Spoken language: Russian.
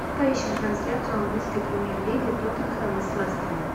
поищем трансляцию английской премьер лиги тоттенхэма с лестером